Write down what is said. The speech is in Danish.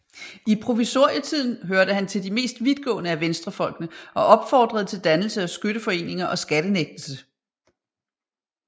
I provisorietiden hørte han til de mest vidtgående af venstrefolkene og opfordrede til dannelse af skytteforeninger og skattenægtelse